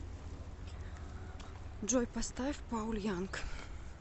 джой поставь пауль янг